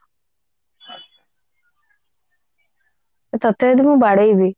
ତତେ ଯଦି ମୁଁ ବାଡେଇବି